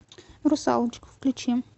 русалочка включи